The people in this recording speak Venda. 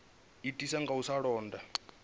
itiswa nga u sa londa